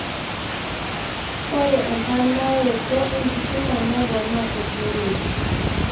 ore emponaroto enkisuma neponaa teknoloji.